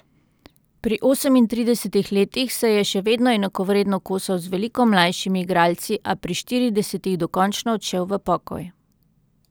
Pri osemintridesetih letih se je še vedno enakovredno kosal z veliko mlajšimi igralci, a pri štiridesetih dokončno odšel v pokoj.